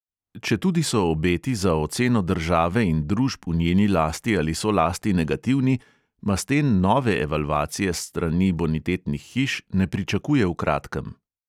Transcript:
Četudi so obeti za oceno države in družb v njeni lasti ali solasti negativni, masten nove evalvacije s strani bonitetnih hiš ne pričakuje v kratkem.